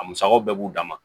A musakaw bɛɛ b'u dan ma